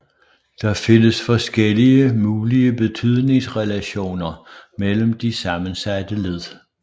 Der findes forskellige mulige betydningsrelationer mellem de sammensatte led